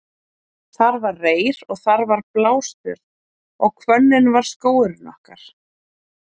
Þar var reyr og þar var blástör og hvönnin var skógurinn okkar.